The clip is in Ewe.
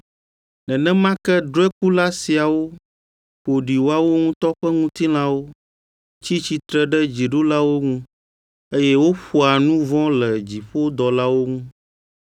Nenema ke drɔ̃ekula siawo ƒo ɖi woawo ŋutɔ ƒe ŋutilãwo, tsi tsitre ɖe dziɖulawo ŋu, eye woƒoa nu vɔ̃ le dziƒodɔlawo ŋu.